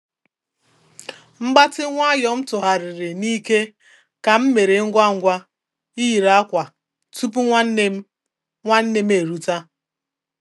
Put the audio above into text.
Mgbatị nwayọ m tụgharịri n'ike ka m mere ngwa ngwa iyiri akwa tupu nwanne nne m nwanne nne m eruta